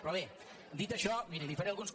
però bé dit això miri li faré alguns